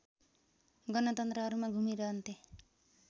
गणतन्त्रहरूमा घुमिरहन्थे